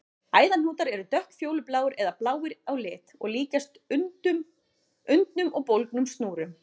Æðahnútar eru dökkfjólubláir eða bláir á lit og líkjast undnum og bólgnum snúrum.